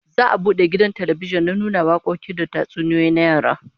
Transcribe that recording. Za'a bude gidan talbijin na nuna wakoki da tatsuniyoyin yara